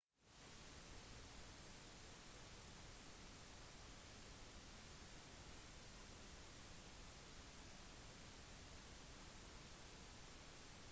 den troende er på jakt etter intuisjon eller innsikt i guddommelig sannhet / guddom eller guddommer eller en direkte opplevelse